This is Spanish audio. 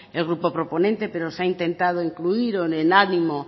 el grupo proponente pero se ha intentado incluir o en el ánimo